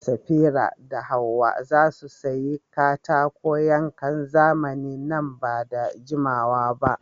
Safira da Hawwa za su sayi katakon yankan zamani nan ba da jimawa ba.